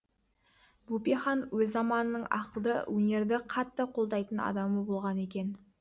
бөпе хан өз заманының ақылды өнерді қатты қолдайтын адамы болған екен